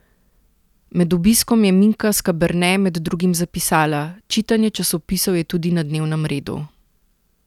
Med obiskom je Minka Skaberne med drugim zapisala: "Čitanje časopisov je tudi na dnevnem redu.